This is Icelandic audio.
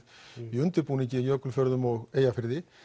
í undirbúningi í Jökulfjörðum og Eyjafirði